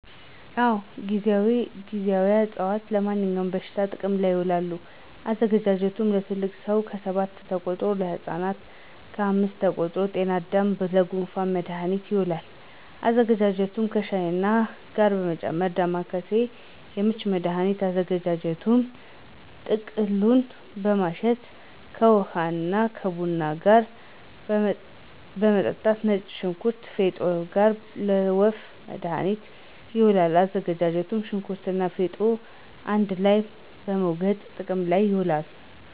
አወ ;ጊዜዋ አፅዋት-ለማንኛውም በሽታ ጥቅም ይውላል። አዘገጃጀቱ ለትልቅ ሰው ከሰባት ተቆርጦ, ለህፃናት ከአምስት ተቆርጦ -ጤናዳም :ለጉንፋን መድሀኒት ይውላል አዘገጃጀቱ ከሻይ ጋር በመጨመር -ዳማከሴ: ለምች መድሀኒት አዘገጃጀቱ ቅጠሉን በማሸት ከውሀ ወይም ከቡና ጋር መጠጣት -ነጭ ሽንኩርት ከፌጦ ጋር: ለወፍ መድሀኒት ይውላል አዘገጃጀቱ ሸንኩርቱንና ፌጦውን አንድ ላይ በመውገጥ ጥቅም ላይ ይውላል